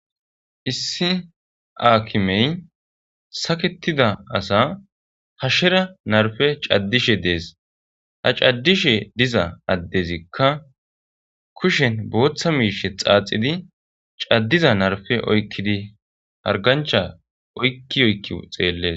issi aakimey saketida asa hashshera narfe caddishe dees ha caddishe diza addezikka kushen booththa miishe xaaxidi caddiza narfe oykkidi hargancha oykki oykki xeelle